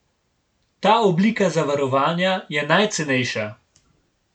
Ta oblika zavarovanja je najcenejša.